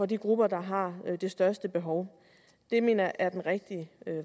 de grupper der har det største behov det mener jeg er den rigtige